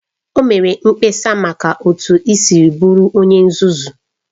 O mere mkpesa maka otu i siri bụrụ onye nzuzu